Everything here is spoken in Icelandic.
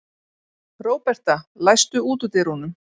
Róberta, læstu útidyrunum.